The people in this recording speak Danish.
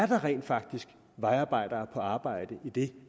der rent faktisk er vejarbejdere på arbejde idet